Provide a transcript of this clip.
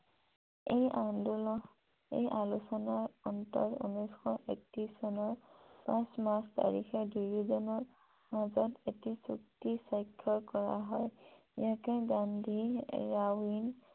এই আলোচনাৰ অন্তত এক হাজাৰ নশ একত্ৰিশ চনত পাঁচ মাৰ্চ তাৰিখে দুয়োজনৰ মাজত এটি চুক্তি স্বাক্ষৰ কৰা হয় । ইয়াকে গান্ধী